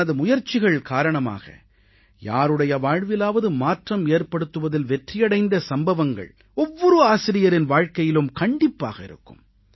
தனது முயற்சிகள் காரணமாக யாருடைய வாழ்விலாவது மாற்றம் ஏற்படுத்துவதில் வெற்றியடைந்த சம்பவங்கள் ஒவ்வொரு ஆசிரியரின் வாழ்கையிலும் கண்டிப்பாக இருக்கும்